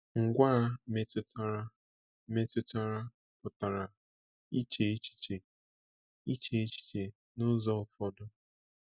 Ngwaa metụtara metụtara pụtara “iche echiche, ịche echiche n’ụzọ ụfọdụ.”